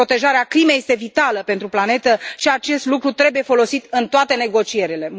Protejarea climei este vitală pentru planetă și acest lucru trebuie folosit în toate negocierile.